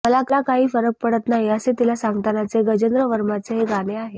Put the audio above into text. मला काही फरक पडत नाही असे तिला सांगतानाचे गजेंद्र वर्माचे हे गाणं आहे